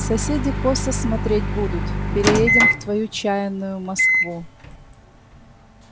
соседи косо смотреть будут переедем в твою чаянную москву